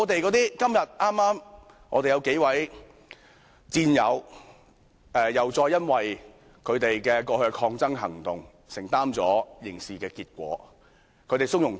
然而，今天我們有數位戰友，又再因為他們過去的抗爭行動承擔了刑事後果，但他們從容面對。